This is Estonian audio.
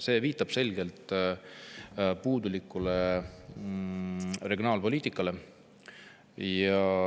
See viitab puudulikule regionaalpoliitikale.